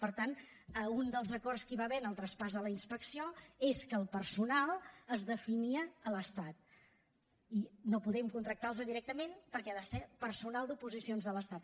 per tant un dels acords que hi va haver en el traspàs de la inspecció és que el personal es definia a l’estat i no podem contractar los directament perquè ha de ser personal d’oposicions de l’estat